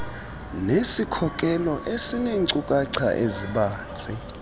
nesikhokelo esineenkcukacha ezibanzi